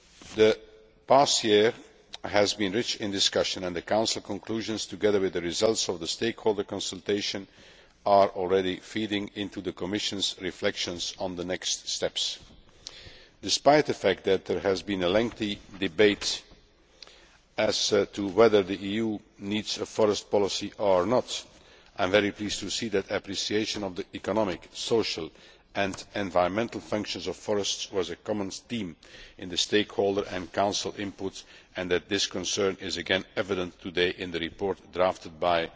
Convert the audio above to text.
The past year has been rich in discussion and the Council conclusions, together with the results of the stakeholder consultation, are already feeding into the Commission's reflections on the next steps. Despite the fact that there has been a lengthy debate as to whether the EU needs a forestry policy or not, I am very pleased to see that appreciation of the economic, social and environmental functions of forests was a common theme in the stakeholder and Council input and that this concern is again evident today in the report drafted by